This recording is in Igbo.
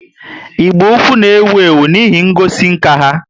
Igbo-ukwu na ewu ewu n' ihe ngosi nka ha